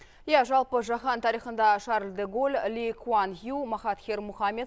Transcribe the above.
иә жалпы жаһан тарихында шарль де голль ли куан ю махатхир мұхамед